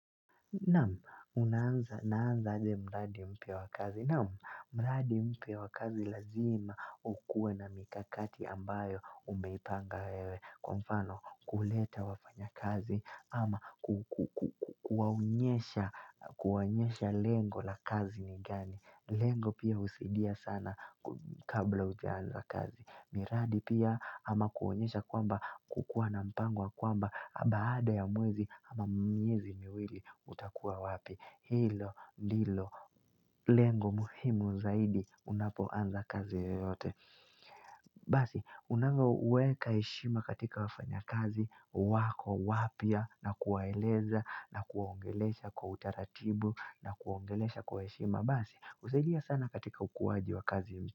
Nam, unaanza, naanza aje mradi mpya wa kazi. Nam, mradi mpya wa kazi lazima ukuwe na mikakati ambayo umeipanga wewe. Kwa mfano, kuleta wafanya kazi ama kuwaonyesha, kuwaonyesha lengo la kazi ni gani. Lengo pia husidia sana ku kabla ujaanza kazi. Miradi pia ama kuwaonyesha kwamba kukua na mpango wa kwamba baada ya mwezi ama miezi miwili. Uta kuwa wapi Hilo, lilo, lengo muhimu zaidi Unapo anza kazi yote Basi, unavo weka heshima katika wafanya kazi wako, wapya na kuwaeleza na kuwaongelesha kwa utaratibu na kuwaongelesha kwa eshima Basi, husaidia sana katika ukuaji wa kazi.